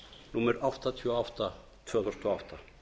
númer áttatíu og átta tvö þúsund og átta